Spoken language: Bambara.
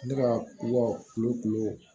Ne ka kuwa kulo kulu